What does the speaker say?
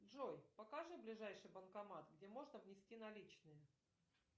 джой покажи ближайший банкомат где можно внести наличные